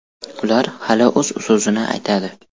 Ular hali o‘z so‘zini aytadi.